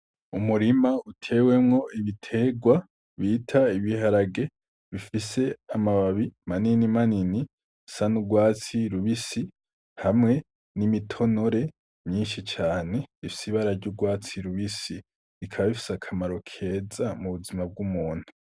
Umurima utewemwo ibitegwa bita ibiharage bifise amababi manini manini asa n' ugwatsi rubisi hamwe n' imitonore myinshi cane ifise ibara ry'ugwatsi rubisi ikaba ifise akamaro keza mubuzima bw'umuntu.